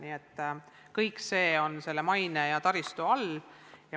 Nii et kõik sõltub mainest ja taristust.